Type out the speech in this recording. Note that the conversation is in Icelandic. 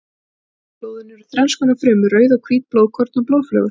Í blóðinu eru þrenns konar frumur: rauð og hvít blóðkorn og blóðflögur.